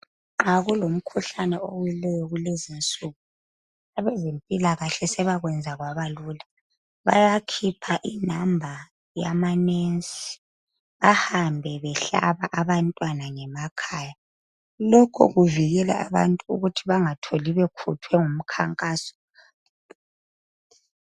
Nxa kulomkhuhlane owileyo kulezinsuku abezempilakahle sebakwenza kwaba lula. Bayakhipha inamba yamanensi ahambe behlaba abantwana ngemakhaya, lokhu kuvikela abantu ukuthi bangatholi bekhuthwe ngumkhankaso